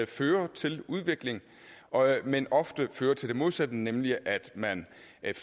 fører til udvikling men ofte fører til det modsatte nemlig at man